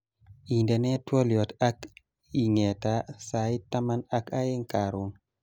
Indenee twoliot ak engeta sait taman ak aeng karon